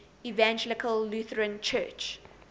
evangelical lutheran church